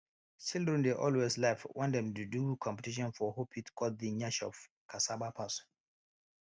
children dey always laugh wen dem dey do competition for who fit cut the nyash of cassava pass